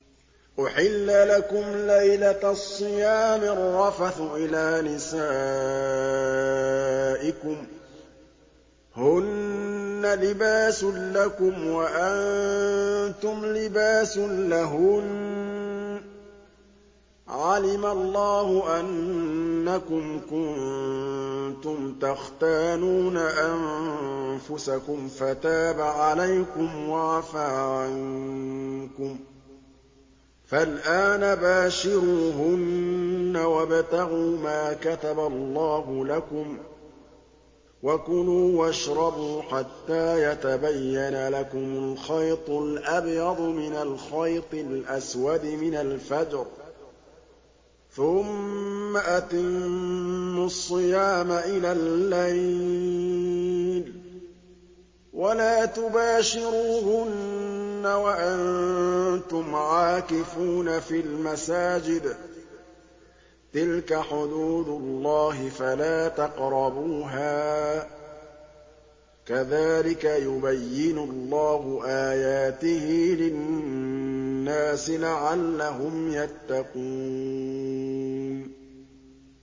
أُحِلَّ لَكُمْ لَيْلَةَ الصِّيَامِ الرَّفَثُ إِلَىٰ نِسَائِكُمْ ۚ هُنَّ لِبَاسٌ لَّكُمْ وَأَنتُمْ لِبَاسٌ لَّهُنَّ ۗ عَلِمَ اللَّهُ أَنَّكُمْ كُنتُمْ تَخْتَانُونَ أَنفُسَكُمْ فَتَابَ عَلَيْكُمْ وَعَفَا عَنكُمْ ۖ فَالْآنَ بَاشِرُوهُنَّ وَابْتَغُوا مَا كَتَبَ اللَّهُ لَكُمْ ۚ وَكُلُوا وَاشْرَبُوا حَتَّىٰ يَتَبَيَّنَ لَكُمُ الْخَيْطُ الْأَبْيَضُ مِنَ الْخَيْطِ الْأَسْوَدِ مِنَ الْفَجْرِ ۖ ثُمَّ أَتِمُّوا الصِّيَامَ إِلَى اللَّيْلِ ۚ وَلَا تُبَاشِرُوهُنَّ وَأَنتُمْ عَاكِفُونَ فِي الْمَسَاجِدِ ۗ تِلْكَ حُدُودُ اللَّهِ فَلَا تَقْرَبُوهَا ۗ كَذَٰلِكَ يُبَيِّنُ اللَّهُ آيَاتِهِ لِلنَّاسِ لَعَلَّهُمْ يَتَّقُونَ